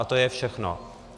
A to je všechno.